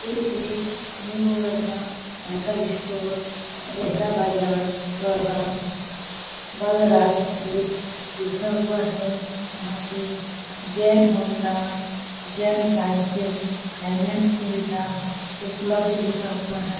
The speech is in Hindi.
ये एक न्यू वर्मा साइकिल स्टोर गैहरा बाजार बलराम बलराजपुर लिखा हुआ है यहाँ पे Jain Honda Jain cycle finance सुविधा उपलब्ध लिखा हुआ है।